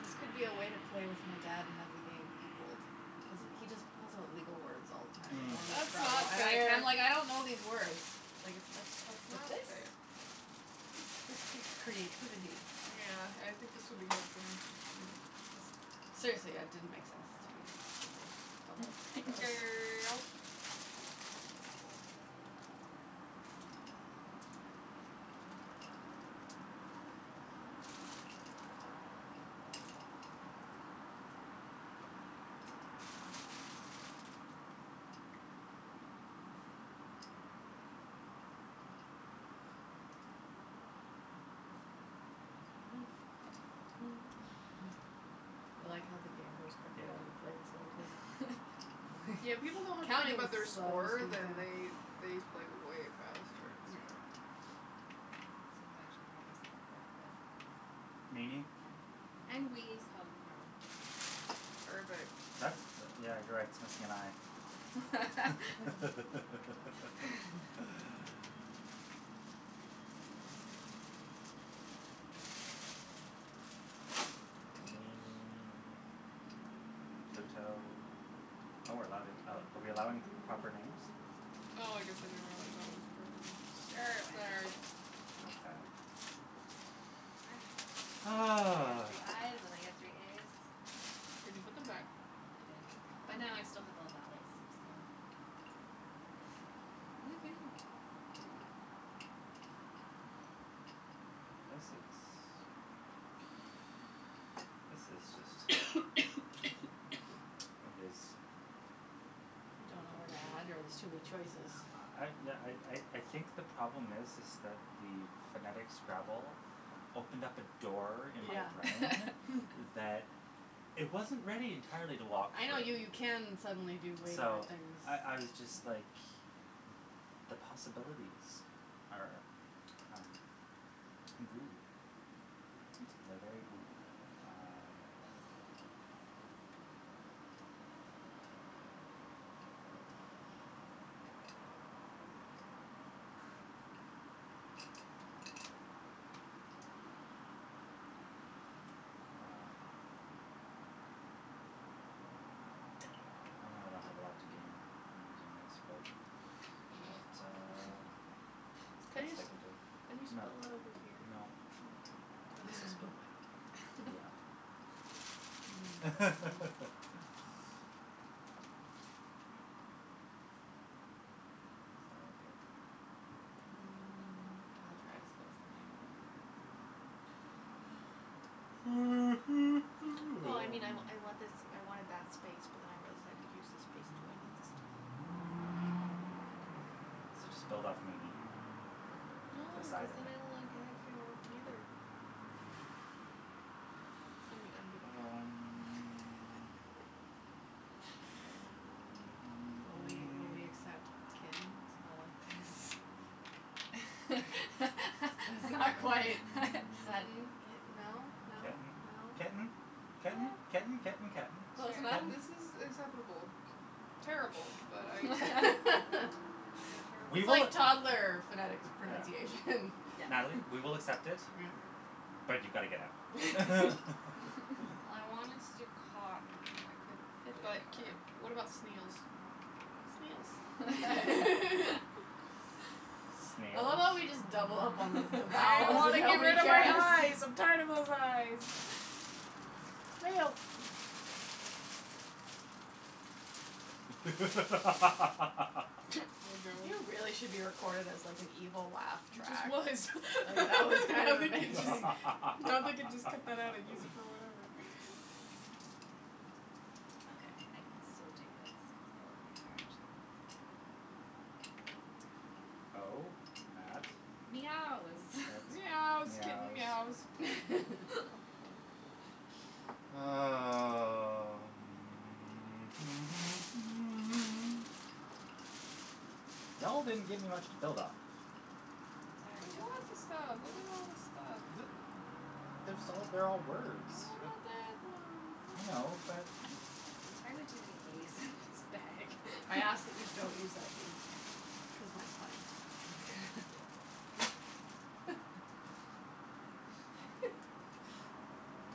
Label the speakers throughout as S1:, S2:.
S1: This could be a way to play with my dad and have the game equalled cuz he just pulls
S2: Mm.
S1: out legal words all the time in
S3: Mm.
S1: normal
S2: That's
S1: Scrabble
S2: not
S1: and I'm like,
S2: fair.
S1: I'm like I don't know these words. Like, it's
S2: That's not
S1: specific.
S2: fair.
S1: This takes creativity.
S2: Yeah, I think this would be hard for him.
S1: Yeah. Seriously, it didn't make sense to me the first couple
S2: Hey,
S1: go's.
S2: girl.
S1: I like how the game goes quickly
S3: Yeah.
S1: when you play this way, too.
S2: Yeah, when people don't have to think
S1: Counting
S2: about their
S1: just slows
S2: score,
S1: things
S2: then
S1: down.
S2: they they play way faster.
S3: That's
S2: That's
S1: Yeah.
S3: true.
S2: true.
S4: This one's actually probably spelled right, but I don't know.
S3: Meanie.
S4: Yeah, and wee spelled wrong.
S2: Perfect.
S3: That's the, yeah, you're right, it's missing an i. Meanie. Pluto. Oh, we're allowing are we're allowing p- proper names?
S2: Oh, I guess I didn't realize that was a proper name.
S4: Sure, why not?
S2: Sorry.
S3: Okay.
S4: I got
S3: Ah.
S4: three i's and I got three a's.
S2: Did you put them back?
S4: I did,
S3: Mm.
S4: but now I still have all vowels, so Woohoo.
S3: This is This is just It is
S1: Don't know where to add, or there's too many choices?
S3: I yeah I I I think the problem is is that the phonetic Scrabble opened up a door in my
S1: Yeah.
S3: brain
S2: Mm.
S3: that it wasn't ready entirely to walk
S1: I
S3: through.
S1: know, you you can suddenly do way more
S3: So,
S1: things.
S3: I I was just, like, the possibilities are, um, goo.
S2: Hmm.
S3: They're very goo. Um Well. I know I don't have a lot to gain from using this, but it, uh, it's the
S2: Can
S3: best
S2: you
S3: I
S2: just
S3: can do.
S2: can you
S3: No.
S2: spell it over here?
S3: No.
S2: Okay. I guess I'll spell mine over here.
S3: Yeah. Sorry, babe.
S1: Mm. I'll try to spell something over there.
S2: No, I mean, I I want this, I wanted that space but then I realized I could use this space, too. I need this e.
S3: So just build off meanie,
S2: No,
S3: the
S2: cuz
S3: side of
S2: then
S3: it.
S2: it'll, like, it can't work, either. I'm I'm being
S3: Um
S2: a
S1: Will we will we accept kitten spelled like this? That's not quite. Sudden, kitten, no, no,
S3: Kitten,
S1: no?
S3: ketten,
S4: Yeah.
S3: ketten, ketten, ketten. Ketten.
S4: Sure.
S1: Close enough?
S3: Ketten.
S2: This is acceptable. Terrible, but I accept it. You're terrible.
S3: We
S1: It's
S3: will
S1: like toddler phonetics
S3: Yeah.
S1: pronunciation.
S4: Yes.
S3: Natalie, we will accept it,
S1: Yeah
S3: but you've got to get out.
S1: I wanted to to cotton, but I couldn't fit it
S2: But k
S1: anywhere.
S2: what about snails? Snails.
S1: I love
S3: Snails?
S1: how we just double up on the the
S2: I
S1: vowels
S2: want
S1: and
S2: to get
S1: nobody
S2: rid of my
S1: cares.
S2: i's. I'm tired of those i's. Snails. Oh, no.
S1: You really should be recorded as, like, an evil laugh
S2: He just
S1: track.
S2: was.
S1: Like, that was kind
S2: Now
S1: of
S2: they can just
S1: amazing.
S2: now they can just cut that out and use it for whatever.
S4: Okay, I can still do this cuz all of these are actually words.
S3: O at
S4: Meows.
S3: at
S2: Meows, kitten
S3: meows.
S2: meows.
S3: Um. Y'all didn't give me much to build off of.
S4: Sorry,
S2: There's
S4: yo.
S2: lots of stuff. Look at all this stuff.
S3: D- there's all they're all words.
S2: What about that one?
S3: I
S2: And that
S3: know,
S2: one
S3: but
S4: There's entirely too many a's in this bag.
S1: I ask that we don't use that d because I might find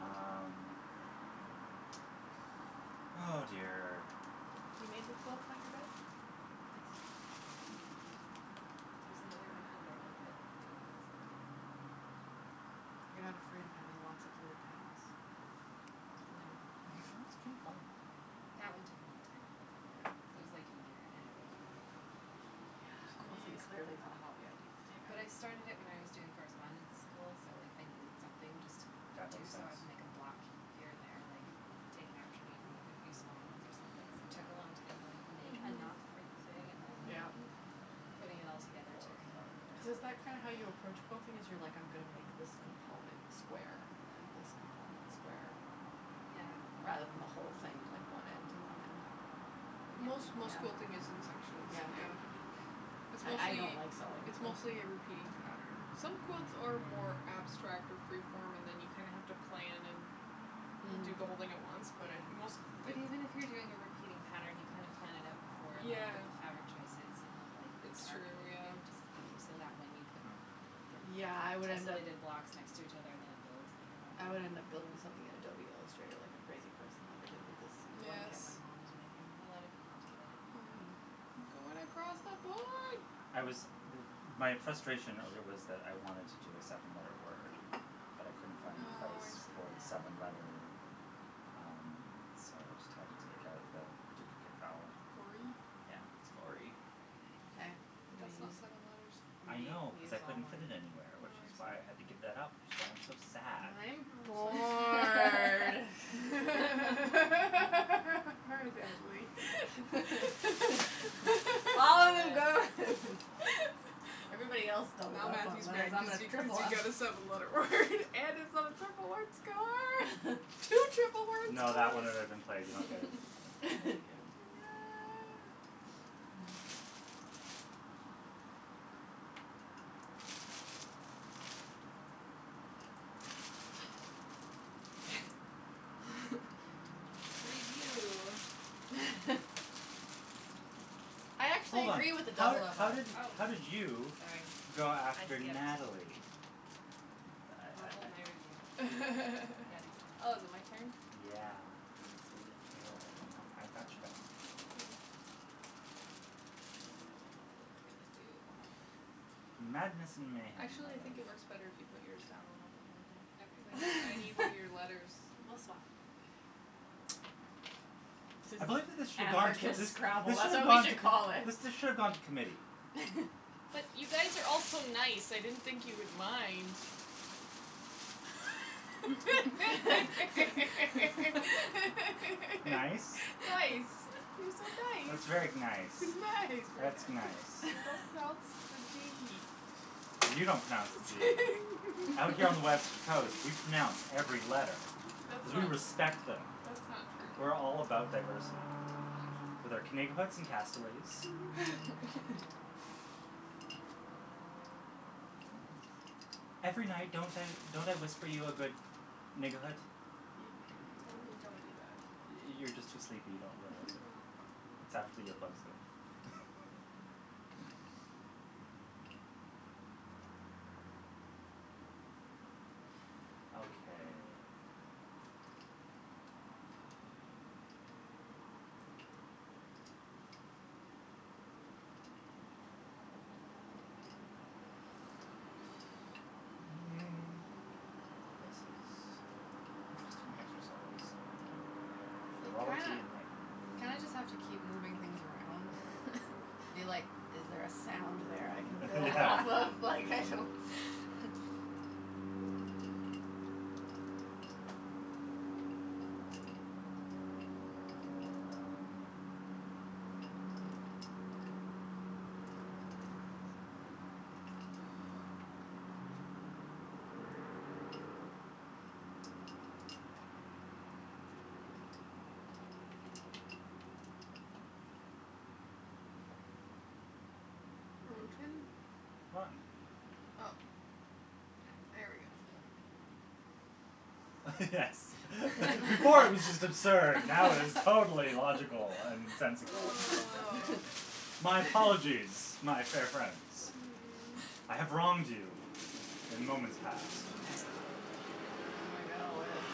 S3: Um. Oh, dear.
S1: You made the quilt on your bed? Nice.
S4: There's another one underneath it that I also made.
S1: You're not afraid of having lots of little panels?
S4: No.
S3: Sounds kinda fun.
S4: That one took a long time, though. That was like a year and a half.
S1: Quilting clearly
S2: Mm.
S1: not a hobby I need to take up.
S4: But I started it when I was doing correspondence school, so like I needed something just to
S3: That
S4: do,
S3: makes
S4: so
S3: sense.
S4: I would make a block here and there, like, take an afternoon, make a few small ones or something. Took a long time to, like, make
S2: Mhm. Mhm.
S4: enough for the thing and then
S1: Yeah.
S4: putting it all
S3: Three,
S4: together took,
S3: four,
S1: Cuz
S4: yeah.
S1: is that
S3: five.
S1: kind of how you approach quilting, is you're like, I'm gonna make this component square and then this component square
S4: Yeah.
S1: rather than the whole thing, like, one end to one end?
S4: Yeah.
S2: Most most
S1: Yeah?
S2: school thing is in sections,
S1: Yeah.
S2: yeah.
S4: Yeah.
S2: It's
S1: I I don't
S2: mostly,
S1: like sewing,
S2: it's
S1: so
S2: mostly a repeating pattern. Some quilts are more abstract or freeform and then you kinda have to plan and do
S1: Mm.
S2: the whole thing at once, but I
S4: Yeah,
S2: most
S4: but even if you're doing a repeating pattern, you kind of plan it out before and, like, pick
S2: Yeah.
S4: the fabric choices and then lighten and
S2: It's
S4: dark and
S2: true,
S4: everything
S2: yeah.
S4: just so that when you put
S3: Hmm.
S4: the
S1: Yeah, I would end up
S4: tessolated blocks next to each other, then it builds the pattern.
S1: I would end up building something in Adobe Illustrator like a crazy person, like I did with this
S2: Yes.
S1: blanket my mom's making me.
S4: A lot of people do that.
S1: Yeah.
S2: Yeah. You're going across the board.
S3: I was m- my frustration earlier was that I wanted to do a seven letter word, but I couldn't find a
S2: Oh, I
S3: place
S2: see.
S3: for the seven letter,
S4: Oh.
S3: um, so I just had to take out the duplicate vowel.
S2: Gory?
S3: Yeah, it's gory.
S4: Very
S1: Okay,
S4: nice.
S1: I'm
S2: But
S1: gonna
S2: that's not
S1: use
S2: seven letters.
S1: I'm
S3: I
S1: gonna
S3: know
S1: u-
S3: cuz
S1: use
S3: I
S1: all
S3: couldn't
S1: mine.
S3: fit it anywhere, which is
S2: Oh, I
S3: why I had to
S2: see.
S3: give that up, which is why I'm so sad.
S1: And I'm bored.
S2: Oh, Natalie.
S1: All them are
S4: Good.
S1: gone. Everybody else doubled
S2: Now
S1: up on
S2: Matthew's
S1: letters.
S2: mad
S1: And I'm
S2: cuz
S1: gonna
S2: you cuz
S1: triple
S2: you
S1: up.
S2: got a seven letter word and it's on a triple word score. Two triple word
S3: No, that
S2: scores.
S3: one had already been played. You don't get it it it again.
S2: Yeah.
S4: Review.
S1: I actually
S3: Hold on,
S1: agree with the
S3: how did
S1: doubled up
S3: how
S4: Oh,
S1: letters.
S3: did how did you
S4: sorry.
S3: go
S4: I
S3: after
S4: skipped.
S3: Natalie? I
S4: I'll
S3: I I
S4: hold my review. I got
S2: Oh, is it my
S4: excited.
S2: turn?
S3: Yeah.
S2: Thanks, sweetie.
S3: You're welcome. I I got your back.
S2: Thank you. Oh, what am I gonna do?
S3: Madness and mayhem, my
S2: Actually, I think
S3: love.
S2: it works better if you put yours down when I put mine down. Cuz I need I need one
S4: Okay.
S2: of your letters.
S4: We'll swap.
S3: I believe that this should gone
S1: Anarchist
S3: this
S1: Scrabble,
S3: this should
S1: that's
S3: have
S1: what we
S3: gone t-
S1: should call it.
S3: this should have gone to committee.
S2: But you guys are all so nice, I didn't think you would mind.
S3: Nice.
S4: Nice, you're
S1: Nice.
S3: That's
S4: so
S3: very
S4: nice.
S3: nice.
S2: Nice.
S3: That's nice.
S2: You don't pronounce the d.
S3: You don't pronounce the zee. Out here on the west coast, we pronounce every letter
S2: That's
S3: cuz we
S2: not
S3: respect them.
S2: that's not
S3: We're all
S2: true.
S3: about
S2: That's
S3: diversity.
S2: not
S3: With
S2: true.
S3: our Every night, don't I don't I whisper you a good?
S2: You totally don't do that.
S3: You you're just too sleepy, you
S2: Ah,
S3: don't realize it. It's after
S2: probably.
S3: earplugs go. Okay. This is an interesting exercise in
S1: You kinda
S3: frivolity and mayhem.
S1: you kinda just have to keep moving things around
S3: Yeah
S1: and be like, is there a sound there I can build
S3: Yeah.
S1: off of? Like, I don't
S3: Um
S2: Broten?
S3: Rotten.
S2: Oh,
S4: Ah.
S2: there we go.
S4: That's better.
S3: Yes. Before it was just absurd. Now it is totally logical and sensical.
S2: Oh.
S3: My apologize, my fair friends.
S2: Mm.
S3: I have wronged you in moments past.
S1: Okay, I'm gonna go with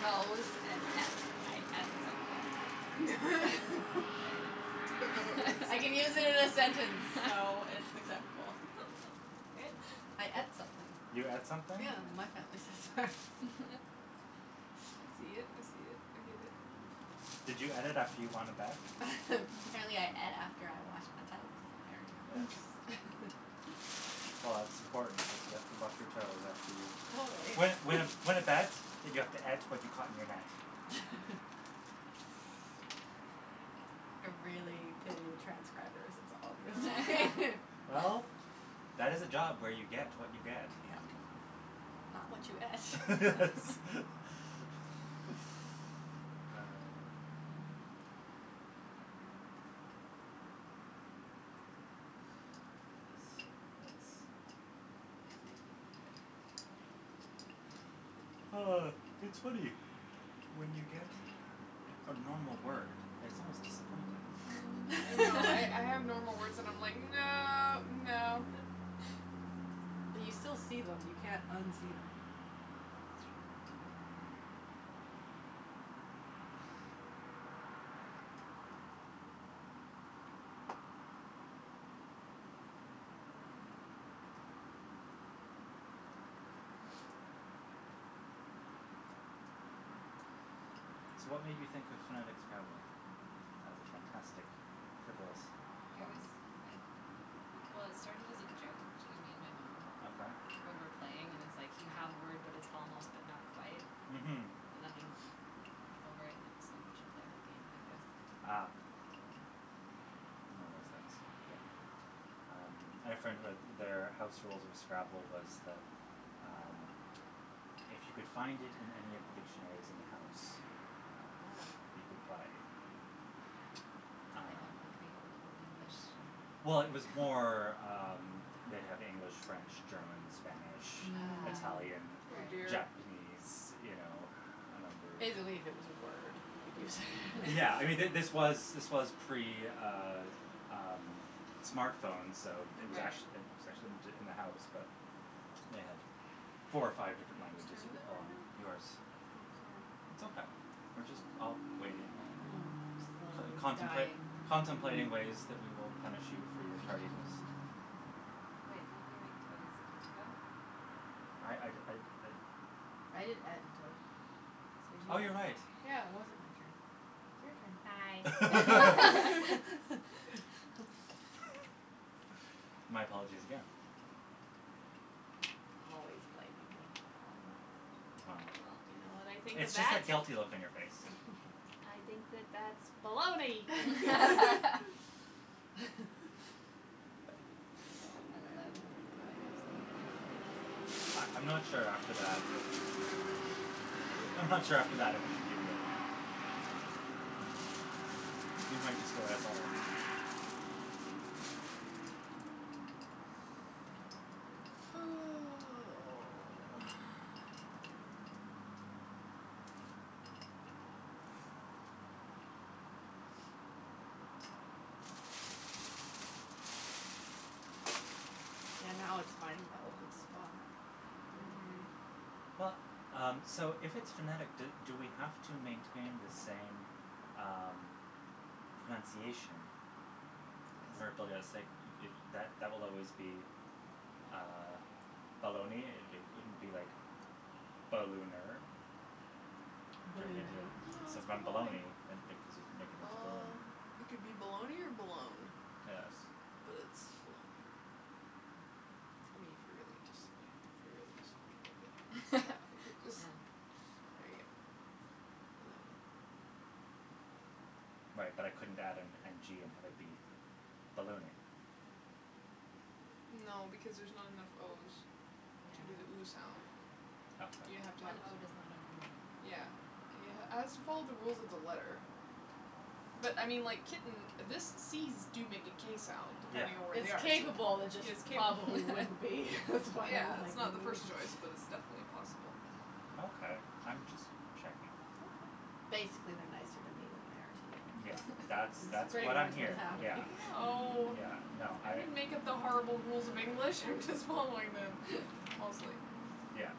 S1: toes and et. I et something.
S4: Very nice.
S1: I can use
S2: Toes.
S1: it in a sentence, so it's acceptable. I et something.
S3: You et
S2: Yeah.
S3: something?
S1: Yeah, my family says that.
S2: I see it, I see it, I give it.
S3: Did you et it after you won a bet?
S1: Apparently I et after I washed my toes,
S3: Yes.
S1: apparently.
S3: Well, it's important because you have to wash your toes after you
S1: Totally.
S3: Win win a win a bet, but you have to et to what you caught in your net.
S1: I really pity the transcribers, that's all I'm gonna say.
S2: Oh.
S3: Well, that is a job where you get what you get.
S1: Yeah. Not what you et.
S3: Ah. Yes, it's Oh, it's funny. When you get a normal word, it's almost disappointing.
S2: I know. I I have normal words and I'm like, no, no.
S1: But you still see them. You can't unsee them.
S4: It's true.
S3: So, what made you think of phonetic Scrabble as a fantastic frivolous
S4: It
S3: fun?
S4: was I, well, it started as a joke between me and my mom.
S3: Okay.
S4: When we're playing and it's like you have a word but it's almost but not quite
S3: Mhm.
S4: and then you, like, laugh over and I was like, we should play a whole game like this.
S3: Ah. One of those things. Yeah.
S4: Yep.
S3: Um, I had a friend who had their house rules of Scrabble was that, um, if you could find it in any of the dictionaries in the house, you
S4: Oh.
S3: could play.
S4: Did they have,
S3: Um
S4: like, the Old Old English?
S3: Well, it was more, um, they'd have English, French, German, Spanish,
S4: Ah.
S3: Italian,
S1: Mm.
S2: Oh,
S4: Right.
S2: dear.
S3: Japanese, you know, a number
S1: If
S3: of
S1: they believe it was a word, you could use it.
S3: Yeah, I mean, th- this was this was pre, uh um, smartphones, so it was
S4: Right.
S3: ac- it was
S2: Mhm.
S3: actually in the house, but they had four or five
S1: Whose
S3: different languages
S1: turn
S3: you
S1: is it
S3: could pull
S1: right
S3: on.
S1: now?
S3: Yours.
S1: Oh, sorry.
S3: It's okay, we're just all waiting,
S1: Mm. Slowly
S3: contempla-
S1: dying.
S3: contemplating ways that we will punish you for your tardiness.
S4: Wait, didn't you make toes? Did you go?
S3: I I'd I'd
S2: Mm.
S3: I'd
S1: I did et and toe.
S4: So it's
S3: Oh,
S4: your
S3: you're right.
S4: turn.
S1: Yeah, it wasn't my turn. It's
S2: Hi.
S1: your turn.
S3: My apologies again.
S1: Always blaming me, always.
S3: Well,
S2: Well, you know what I think of
S3: it's just
S2: that?
S3: that guilty look on your face.
S2: I think that that's baloney.
S1: Oh,
S4: I love it.
S1: man.
S2: Can I have some, please?
S3: I I'm not sure after that if we should give you any.
S2: Hmm?
S3: I'm not sure after that if we should give you any. You might destroy us all.
S2: Oh.
S1: Yeah, now
S3: Yes.
S1: it's funny though, cuz
S2: Mhm.
S3: Well, um, so if it's phonetic, do do we have to maintain the same, um, pronunciation. Where b-
S2: Yes.
S3: it's like that that that will always be, uh, baloney. It it couldn't be like ballooner. Turn it into
S1: Balloonay.
S2: No,
S3: So
S2: it's
S3: then
S2: baloney.
S3: baloney and it cuz you can make it into balloon.
S2: Bal- it could be baloney or balone,
S3: Yes.
S2: but it's baloney.
S3: Yeah.
S2: I mean, if you're really just, you know, if you really just want to make it that, you could just
S4: Yeah.
S1: Mm.
S2: There you go. Baloney.
S3: Right, but I couldn't add an n g and have it be ballooning.
S2: No because there's not enough o's
S4: Yeah.
S2: to do the ooh sound. You have to
S3: Okay.
S2: have
S4: One o does not an ooh make.
S2: Yeah. has to follow the rules of the letter. But, I mean, like, kitten, this c's do make a k sound
S3: Yeah.
S2: depending on where
S1: It's
S2: they are.
S1: capable, it
S2: Yes,
S1: just
S2: capable.
S1: probably wouldn't be. That's why
S2: Yeah,
S1: I'm
S2: it's
S1: like
S2: not the first choice, but it's definitely possible.
S3: Okay. I'm just checking.
S2: Okay.
S1: Basically, they're nicer to me than they are to
S3: Yeah,
S1: you.
S3: that's
S1: That's
S3: that's
S1: pretty
S3: what I'm
S1: much what's
S3: hearing. Yeah,
S1: happening.
S2: Oh.
S3: yeah, no,
S2: I
S3: I
S2: didn't make up the horrible rules of English, I'm just following them. Mostly.
S3: Yeah.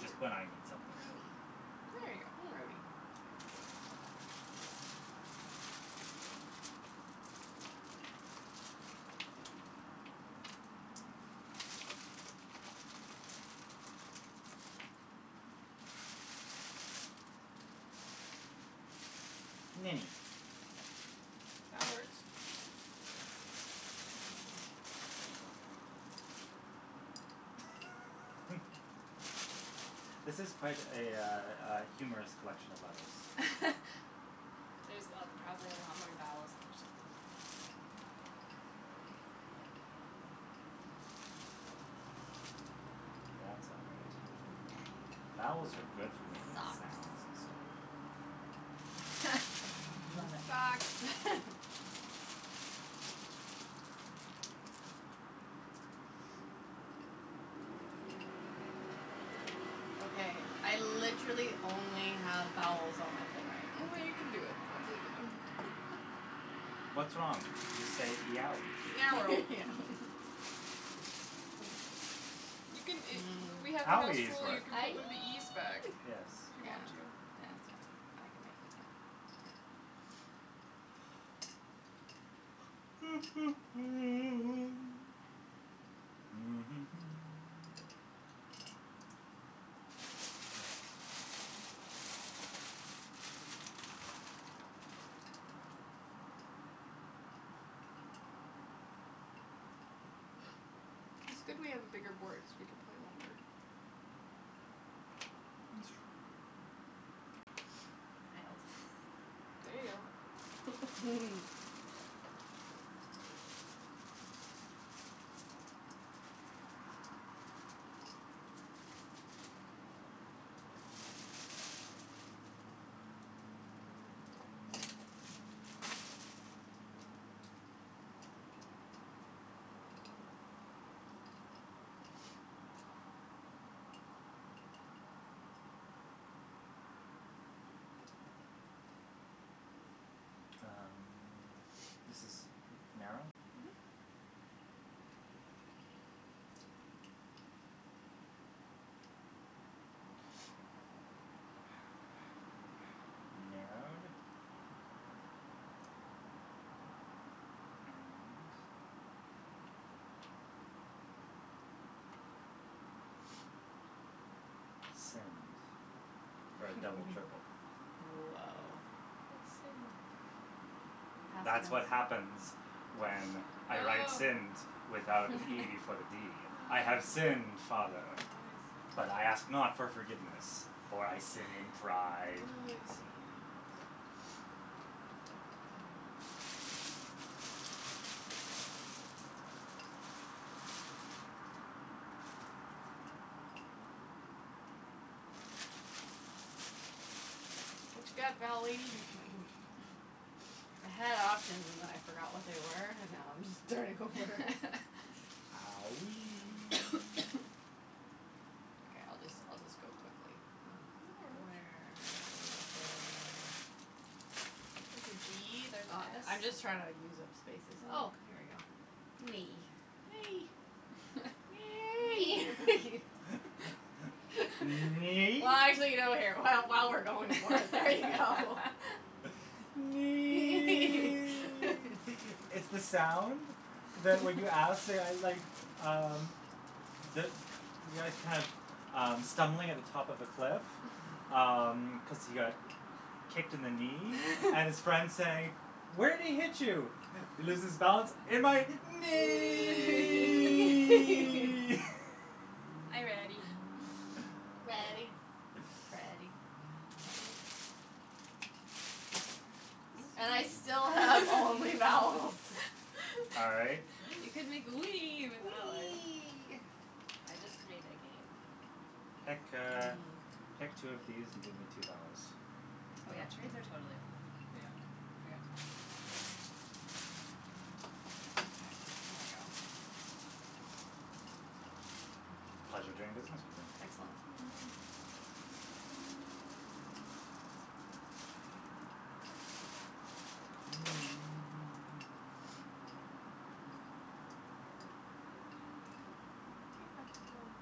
S3: Just when I need something.
S4: Grody.
S2: There you go, grody. Yeah, there you go.
S3: Mini.
S2: That works.
S3: This is quite a, uh, uh, humorous collection of letters.
S4: There's probably a lot more vowels than there should be there.
S3: That's all right. Vowels are good for making sounds and stuff.
S4: Love it.
S2: Socks.
S1: Okay, I literally only have vowels on my thing
S2: I
S1: right now.
S2: know you can do it. I believe in you.
S3: What's wrong? Just say yowee.
S2: Narrow. You can a W- we had a house
S3: Owee is
S2: rule, you
S3: work.
S2: can put one of
S1: Aeeee.
S2: the e's back.
S3: Yes.
S2: If you
S1: Yeah,
S2: want to.
S1: yeah, that's fine, I can make it.
S3: Yes.
S2: It's good we have a bigger board cuz we can play longer.
S3: It's true.
S4: Dialed.
S2: There you go.
S3: Um, this is narrow?
S2: Mhm.
S3: Narrowed? And Sinned for a double triple.
S1: Whoa.
S4: Nice.
S2: What's sinned?
S1: Past
S3: That's what happens
S1: tense.
S3: when I write
S2: Oh.
S3: sinned without an e before the d. I have
S2: Oh.
S3: sinned,
S2: I
S3: father,
S2: see.
S3: but I ask not for forgiveness, for I sin in
S2: Oh,
S3: pride.
S2: I see. What you got, vowel lady?
S1: I had options and then I forgot what they were and now I'm just starting over.
S3: Owee.
S1: Okay, I'll just I'll just go quickly.
S2: No
S1: Uh,
S2: worries.
S1: where is there
S2: There's a g, there's an
S1: I'm
S2: s.
S1: just trying to use up spaces. Oh,
S2: Mm.
S1: here we go. Knee.
S2: Nay.
S1: Knee.
S3: Knee?
S1: Well, actually, while we're going for it, there you go.
S3: Nee! It's the sound that when you ask, like, um, the the guy's kind of, um, stumbling at the top of a cliff, um, cuz he got kicked in the knee and his friend's saying, "Where'd he hit you?" He loses balance. "In my
S1: Knee.
S3: knee!"
S2: Are you ready?
S1: Ready,
S4: Nice.
S1: Freddy. And I still have only vowels.
S3: All right.
S4: You can make the wee with that one.
S1: Wee.
S4: I just made again.
S3: Pick,
S1: Mhm.
S3: uh, pick two of these and give me two vowels.
S4: Oh, yeah, trades are totally allowed.
S2: Yeah.
S4: I forgot to mention that.
S3: Pleasure doing business with you.
S1: Excellent.
S2: Mhm.
S1: Keep that in mind.